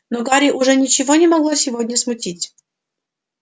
но гарри уже ничего не могло сегодня смутить